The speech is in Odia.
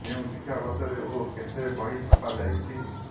କେଉଁ ଶିକ୍ଷା ବର୍ଷରେ ଓ କେତେ ବହି ଛପା ଯାଇଛି